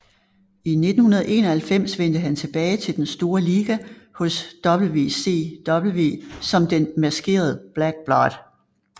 I 1991 vendte han tilbage til den store liga hos WCW som den maskerede Black Blood